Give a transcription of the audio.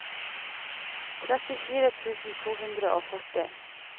trettifire tusen to hundre og førti